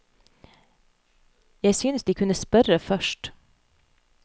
Jeg synes de kunne spørre først.